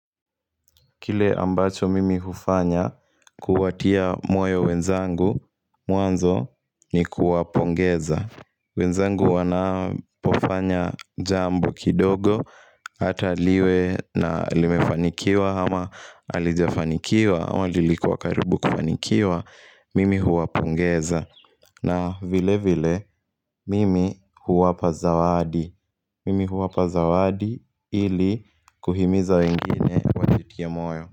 Kile ambacho mimi hufanya kuwatia moyo wenzangu mwanzo ni kuwapongeza wenzangu wanapofanya jambo kidogo Hata liwe na limefanikiwa ama halijafanikiwa ama lilikuwa karibu kufanikiwa Mimi huwapongeza na vilevile mimi huwapa zawadi Mimi huwapa zawadi ili kuhimiza wengine wajitie moyo.